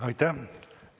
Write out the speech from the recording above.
Aitäh!